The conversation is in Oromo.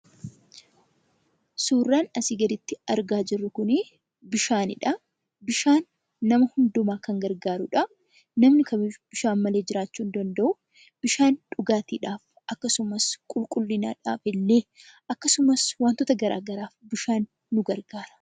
Suurran asii gaditti argaa jirru kunii bishaanidha. Bishaan nama hunduma kan gargaarudhaa. Namni kamiyyuu bishaan malee jiraachuu hin danda'uu. Bishaan dhugaatiidhaaf akkasumas qulqullinadhaafillee akkasumas wantoota garaa garaaf bishaan nu gargaara.